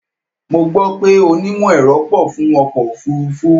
Mo gbó pé onímọ̀-ẹ̀rọ pọ̀ fún ọkọ̀ òfúrúfú.